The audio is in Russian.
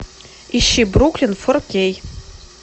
ищи бруклин фор кей